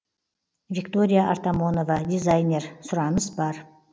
виктория артамонова дизайнер сұраныс бар